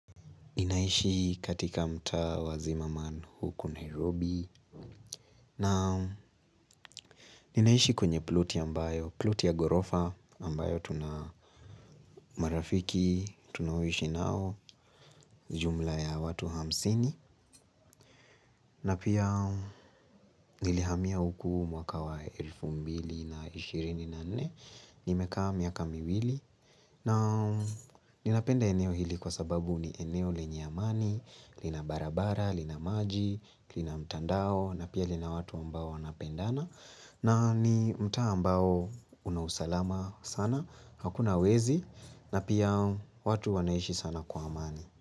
Ninaishi katika mtaa wa zimmerman huku Nairobi na ninaishi kwenye ploti ambayo, ploti ya ghorofa ambayo tunamarafiki, tunaishi nao jumla ya watu hamsini. Na pia nilihamia huku mwaka wa elfu mbili na ishirini na nne. Nimekaa miaka miwili. Na ninapenda eneo hili kwa sababu ni eneo lenye amani. Lina barabara, lina maji, lina mtandao. Na pia lina watu ambao wanapendana. Na ni mtaa ambao una usalama sana. Hakuna wezi. Na pia watu wanaishi sana kwa amani.